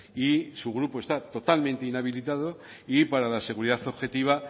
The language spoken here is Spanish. y su grupo está totalmente inhabilitado y para la seguridad objetiva